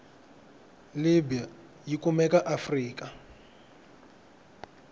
libya yikumeka aafrika